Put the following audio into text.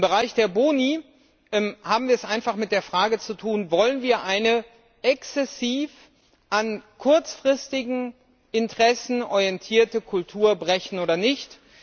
Im Bereich der Boni haben wir es einfach mit der Frage zu tun Wollen wir eine exzessiv an kurzfristigen Interessen orientierte Kultur brechen oder nicht?